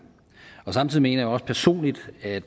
samtidig mener jeg også personligt at